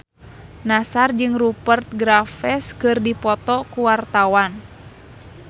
Nassar jeung Rupert Graves keur dipoto ku wartawan